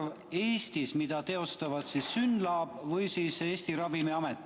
Pean silmas teste, mida teostavad Synlab või Eesti Ravimiamet.